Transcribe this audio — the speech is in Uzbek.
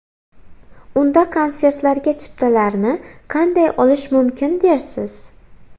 Unda konsertlarga chiptalarni qanday olish mumkin dersiz?